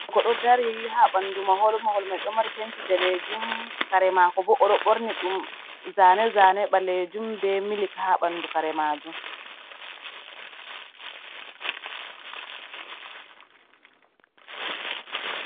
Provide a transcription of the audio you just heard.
Ko ɗo dari ha bandu mahol, Mahol maiɗo mari penti danejum kare mako bo oɗo borni ɗum zane zane ɓalejum be milik ha ɓandu karemajum.